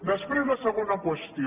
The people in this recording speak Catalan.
després la segona qüestió